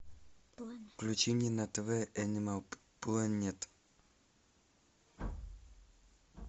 включи мне на тв энимал плэнет